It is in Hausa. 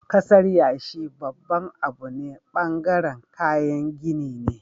kasar yashi babban Abu ne bangaren kayan gini ne